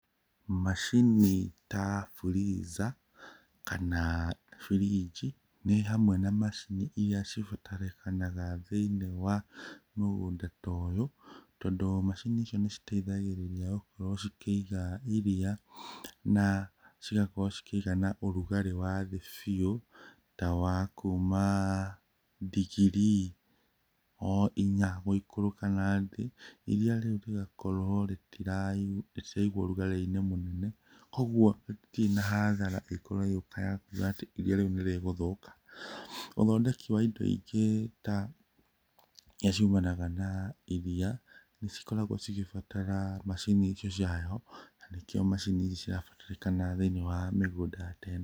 Macini ta freezer kana burinji nĩ hamwe na macini iria cibatarĩkanaga thĩiniĩ wa mũgũnda ta ũyũ, tondũ macini icio nĩ citeithagĩrĩria gũkorwo cikĩiga ĩria, na cigakorwo cikĩiga na ũrugarĩ wa thĩ biũ ta wa kuma ndigiri o inya gũikũrũka nathĩ. Ĩria rĩu rĩgakorwo rĩtiraigwo ũrugarĩ-inĩ mũnene, koguo hatirĩ na hathara ĩgũkorwo ĩgĩũka ya gũkorwo atĩ ĩria rĩu nĩ rĩgũthũka. Ũthondeki wa ĩndo ĩngĩ ta irĩa ciumanaga na ĩria cikoragwo cigĩbatara macini icio cia heho na nĩ kĩo macini icio cirabatarĩkana thĩiniĩ wa mĩgũnda ta ĩno.